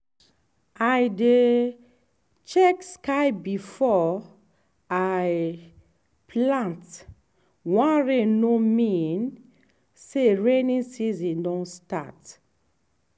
i dey check sky before i plant; one rain no mean say rainy season don start.